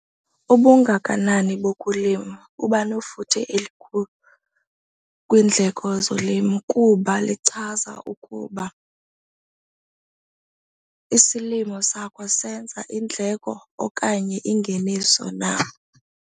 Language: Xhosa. Ubungakanani bokulima bubanefuthe elikhulu kwiindleko zolimo kuba lichaza ukuba isilimo sakho senza iindleko okanye ingeniso na.